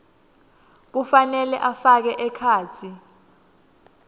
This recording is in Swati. kufanele afake ekhatsi